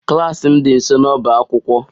Klas m dị nso n'ọbá akwụkwọ